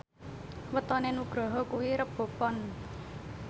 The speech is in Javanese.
wetone Nugroho kuwi Rebo Pon